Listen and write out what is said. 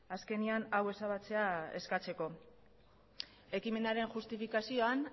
azkenean hau ezabatzea eskatzeko ekimenaren justifikazioan